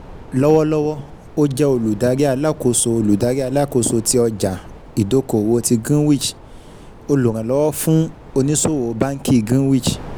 Lọ́wọ́lọ́wọ́, ó jẹ́ Olùdarí Alákóso Olùdarí Alákóso tí ọjà-ìdókòwò ti Greenwich, olùrànlówó fún ònísòwò báńkì Greenwich.